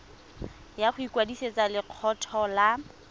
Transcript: ya go ikwadisetsa lekgetho la